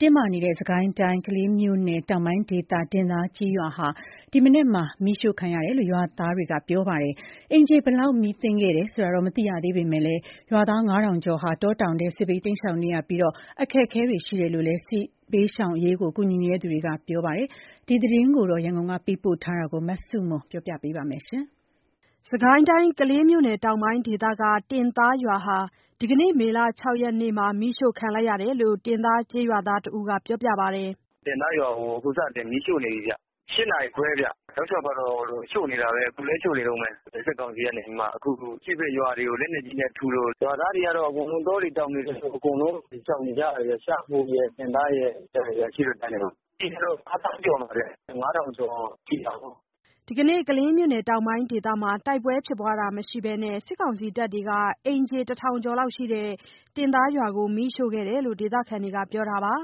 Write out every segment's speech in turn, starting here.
တင်းမာနေတဲ့ စစ်ကိုင်းတိုင်းကလေးမြို့နယ်တောင်ပိုင်း ဒေသ တင်သားကျေးရွာဟာ ဒီမနက် မီးတင်ရှို့ခံရ တယ်လို့ ရွာခံတွေကပြောပါတယ်။ အိမ်ခြေဘယ်လောက်မီးသင့်ခဲ့တယ်ဆိုတာ မသိရသေးပေမယ့် ရွာသား(၅,၀၀၀) ကျော်ဟာ တောတောင်ထဲ စစ်ဘေးတိမ်းရှောင်နေရပြီး အခက်ခဲရှိနေတယ်လို့ စစ်ရှောင်အရေးကူညီသူတွေက ပြောပါတယ်။ ရန်ကုန်ကသတင်းပေးပို့ထားတာကို မဆုမွန်က တင်ပြပေးထားပါတယ်။ စစ်ကိုင်းတိုင်း ကလေးမြို့နယ်တောင်ပိုင်းဒေသက တင်သားရွာဟာ ဒီကနေ့မေလ (၆) ရက်နေ့မှာ မီးရှို့ခံရတယ်လို့ တင်သားရွာသားတဦးကပြောပါတယ်။ “တင်သားရွာကို မီးရှို့နေပြီဗျ။ (၈)နာရီခွဲဗျ။ တောက်လျှောက်ကတော့ရှို့နေတယ်။ အခုလည်း ရှို့နေတုန်းပဲ။ စစ်ကောင်စီကနေပြီးမှ။ အရှေ့ဘက်ရွာမှာလက်နက်ကြီးနဲ့ထုလို့ ရွာသားတွေကတော့အကုန်လုံး စစ်ရှောင်နေကြတယ်ဗျ။ ရှားဖိုရယ် တင်သားရယ်။ စစ်ရှောင်တယ်ဗျ။ အရှေ့ဘက်ကမ်းကို။ ဦးရေကတော့ (၅,၀၀၀) ကျော်တယ်။ (၅,၀၀၀) ကျော်ရှိတာပေါ့။” ဒီကနေ့ ကလေးမြို့နယ်တောင်ပိုင်းဒေသမှာ တိုက်ပွဲဖြစ်ပွါးတာမရှိဘဲနဲ့ စစ်ကောင်စီတပ်ကနေ အိမ်ခြေတထောင်ကျော်ရှိတဲ့ တင်သားရွာကို မီးရှို့ခဲ့တယ် လို့ ဒေသခံတွေကပြောပါတယ်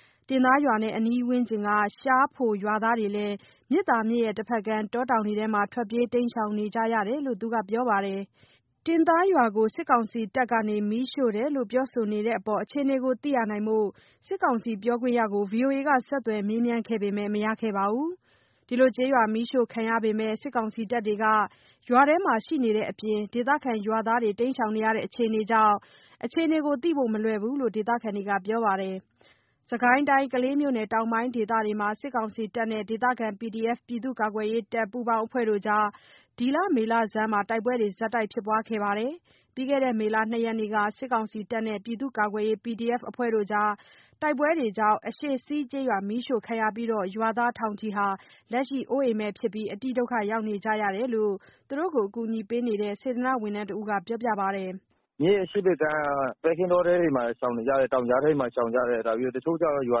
။ တင်သားရွာနဲ့ အနီးဝန်းကျင် ရှားဖိုရွာသားတွေလည်း မြစ်သာမြစ်တဘက်ကမ်း တောတောင်ထဲ ထွက်ပြေးတိမ်းရှောင်နေကြတယ်လို့သူကဆိုပါတယ်။ တင်သားရွာကို စစ်ကောင်စီတပ်ကနေမီးရှို့တယ်လို့ ပြောဆိုနေတဲ့အပေါ် အခြေအနေကိုသိရှိဖို့ စစ်ကောင်စီပြောခွင့်ရကို ဆက်သွယ်မေးမြန်းခဲ့ပေမယ့် မရခဲ့ပါဘူး။ ကျေးရွာမီးရှို့ခံနေရပေမယ့် စစ်ကောင်စီတပ်တွေက ရွာထဲရှိနေတဲ့အပြင် ဒေသခံရွာသားတွေ တိမ်းရှောင်နေရတဲ့ အခြေအနေကြောင့် အခြေအနေကိုသိဖို့ မလွယ်ဘူးလို့ဒေသခံတွေကပြောပါတယ်။ စစ်ကိုင်းတိုင်း ကလေးမြို့နယ်တောင်ပိုင်းဒေသတွေမှာ စစ်ကောင်စီတပ်နဲ့ ဒေသခံ PDF ပြည်သူ့ကာကွယ်ရေး ပူးပေါင်းအဖွဲ့တို့ကြား ဒီမေလဆန်းပိုင်းမှာ တိုက်ပွဲတွေဆက်တိုက်ဖြစ်ပွါးနေခဲ့ပါတယ်။ ပြီးခဲ့တဲ့ မေလ (၂) ရက်နေ့က စစ်ကောင်စီတပ်နဲ့ ပြည်သူ့ကာကွယ်ရေး PDF အဖွဲ့တို့တိုက်ပွဲကြား အရှေ့စီးကျေးရွာ မီးရှို့ခံရပြီး ရွာသားထောင်ချီဟာ လက်ရှိ အိုးအိမ်မဲ့ ဖြစ်ပြီး အတိဒုက္ခရောက်နေကြတယ်လို့ သူတို့ကို အကူညီပေးနေတဲ့ စေတနာ့ဝန်ထမ်းတဦးက ပြောပါတယ်။ “မြစ်အရှေ့ဘက်ခြမ်း ပဲခင်းတောထဲမှာ ရှောင်နေကြတယ်။ တောင်ကြားထဲမှာရှောင်နေကြတယ်။ တချို့ကျတော့လည်း ရွာ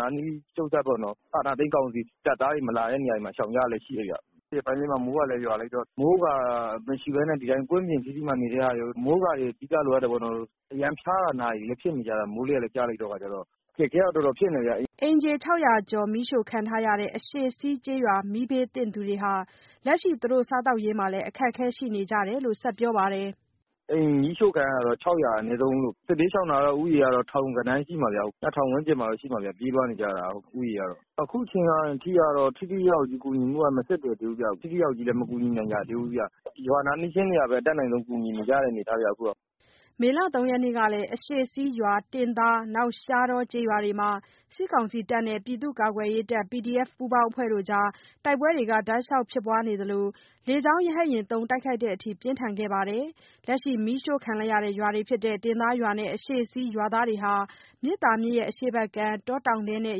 နားနီး ချုပ်စပ်ပေါ့နော်။ အာဏာသိမ်းကောင်စီတပ်သားတွေမလာတဲ့နေရာတွေမှာ ရှောင်ကြလေ့ရှိတယ်ဗျ။ ဒီရက်ပိုင်းအတွင်းမှာ မိုးကလည်းရွာလိုက်တော့ မိုးကာမရှိဘဲနဲ့ ဒီအတိုင်းကွင်းပြင်ထီးတည်းမှာနေတဲ့ဟာတွေ။ အမိုးအကာတွေ အဓိက လိုအပ်တာပေါ့နော်။ အရမ်းဖျာတာ နာတာဖြစ်နေကြတယ်။ မိုးလေတွေလည်း ကျတဲ့အခါကျတော့။ အခက်ခဲတော့ တော် တော်ဖြစ်နေကြတယ်။” အိမ်ခြေ (၆၀၀) ကျော်မီးရှို့ခံထားရတဲ့ အရှေ့စီးကျေးရွာ မီးဘေးသင့်သူတွေဟာ လက်ရှိ သူတို့ စားသောက်ရေးမှာလည်း အခက်ခဲရှိနေကြတယ်လို့ဆက်ပြောပါတယ်။ “အိမ်မီးရှို့ခံရတာ (၆၀၀) အနည်းဆုံးလို့။ စစ်ဘေးရှောင်ဦးရေက နှစ်ထောင်ဝန်းကျင်တော့ရှိမယ်ဗျ။ ပြေးလွှားနေကြတယ် ဦးရေက။ အခုချိန်ကထိကတော့ ထိထိရောက်ရောက် ကူညီဖို့က မဆက်သွယ်သေးဘူးဗျ။ ထိထိရောက်ရောက်ကြီးလည်း မကူညီနိုင်ကြသေးဘူးဗျ။ ရွာနားနီးချင်းတွေကပဲ အတတ်နိုင်ဆုံးကူညီနေကြတဲ့အနေအထားဗျ။” မေလ (၃) ရက်နေ့ကလည်း အရှေ့စီးရွာ၊ တင်သား၊ ရှားတောကျေးရွာတွေမှာ စစ်ကောင်စီတပ်နဲ့ ပြည်သူ့ကာကွယ်ရေး PDF ပူးပေါင်းအဖွဲ့တို့ကြား တိုက်ပွဲတောက်လျှောက်ဖြစ်နေသလို တိုက်ခိုက်တဲ့အထိပြင်းထန်ခဲ့ပါတယ်။ လက်ရှိမီးရှို့ခံ တင်သားရွာနဲ့အရှေ့စည်းရွာသားတွေဟာ မြစ်သာမြစ်အရှေ့ဘက်ကမ်း တောတောင်ထဲနဲ့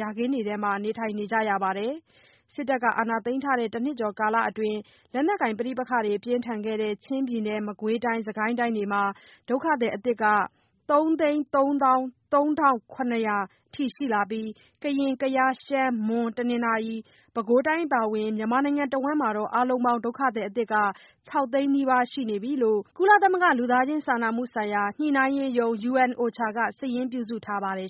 ယာခင်းထဲမှာ နေထိုင်နေကြရပါတယ်။ စစ်တပ်က အာဏာသိမ်းထားတဲ့ တနှစ်ကျော်အတွင်း လက်နက်ကိုင်ပဋိပက္ခတွေ ပြင်းထန်တဲ့ ချင်းပြည်နယ်၊ မကွေးတိုင်းနဲ့ စစ်ကိုင်းတို့မှာ ဒုက္ခသည်အသစ် ၃၃၃,၇၀၀ ထိ ရှိလာပြီး ကရင်၊ ကယား၊ ရှမ်း၊ မွန်ပြည်နယ်၊ တနင်္သာရီနဲ့ ပဲခူးတိုင်းအပါဝင် မြန်မာနိုင်ငံတစ်ဝန်းမှာ အားလုံးပေါင်း ဒုက္ခသည်အသစ် (၆) သိန်းနီးပါး ရှိနေပြီလို့ ကုလသမဂ္ဂ လူသားချင်းစာနာမှုဆိုင်ရာ ညှိနှိုင်းရေးရုံး (UN OCHA) က စာရင်းပြုစုထားပါတယ်